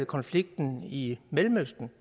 konflikten i mellemøsten